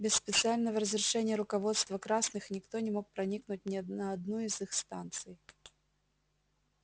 без специального разрешения руководства красных никто не мог проникнуть ни на одну из их станций